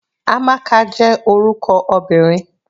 Amaka jẹ́ orúkọ obìnrin.